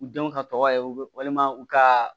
U denw ka tɔgɔ ye u bɛ walima u ka